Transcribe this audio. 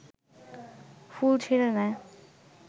ফুল ছিঁড়ে নেয়